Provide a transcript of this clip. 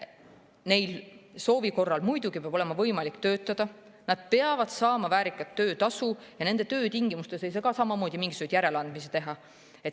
Neil peab olema võimalik muidugi soovi korral töötada, nad peavad saama väärikat töötasu ja nende töötingimustes ei saa ka samamoodi mingisuguseid järeleandmisi teha.